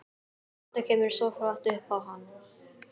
Þetta kemur svo flatt upp á hann.